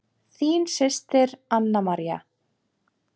Þín systir, Anna María.